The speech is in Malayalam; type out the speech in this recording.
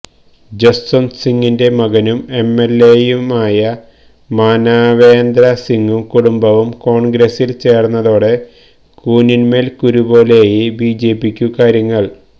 ജസ്വന്ത് സിങ്ങിന്റെ മകനും എംഎല്എയുമായ മാനവേന്ദ്ര സിങ്ങും കുടുംബവും കോണ്ഗ്രസില് ചേര്ന്നതോടെ കൂനിന്മേല് കുരുപോലെയായി ബിജെപിക്കു കാര്യങ്ങള്